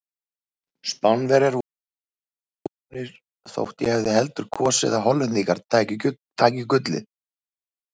Spánverjar voru vel að sigrinum komnir þótt ég hefði heldur kosið að Hollendingar tækju gullið.